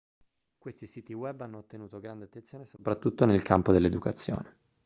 questi siti web hanno ottenuto grande attenzione soprattutto nel campo dell'educazione